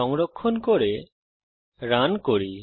সংরক্ষণ করে রান করি